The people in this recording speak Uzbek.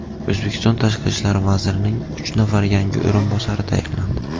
O‘zbekiston Tashqi ishlar vazirining uch nafar yangi o‘rinbosari tayinlandi.